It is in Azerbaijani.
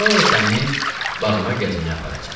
Sonra səni bağıma gəzməyə aparacam.